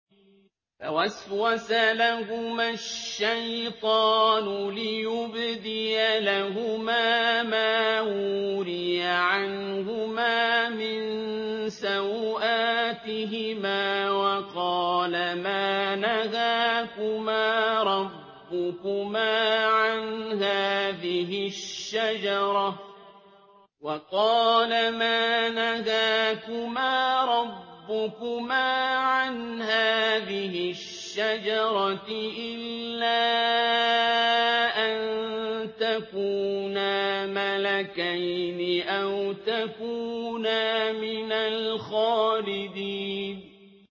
فَوَسْوَسَ لَهُمَا الشَّيْطَانُ لِيُبْدِيَ لَهُمَا مَا وُورِيَ عَنْهُمَا مِن سَوْآتِهِمَا وَقَالَ مَا نَهَاكُمَا رَبُّكُمَا عَنْ هَٰذِهِ الشَّجَرَةِ إِلَّا أَن تَكُونَا مَلَكَيْنِ أَوْ تَكُونَا مِنَ الْخَالِدِينَ